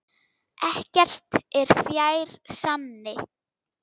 Ekkert er fjær sanni.